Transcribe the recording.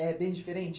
É bem diferente?